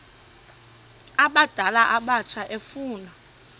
abadala abatsha efuna